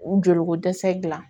U joli ko dɛsɛ dilan